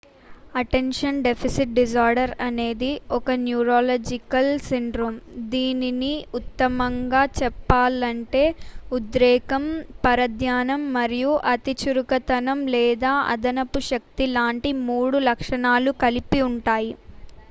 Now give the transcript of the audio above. "Attention deficit disorder అనేది "ఒక neurological syndrome దీనిని ఉత్తమంగా చెప్పాలంటే ఉద్రేకం పరధ్యానం మరియు అతిచురుకుతనం లేదా అదనపు శక్తి లాంటి మూడు లక్షణాలు కలిపి ఉంటాయి.""